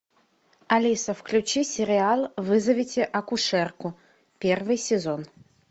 алиса включи сериал вызовите акушерку первый сезон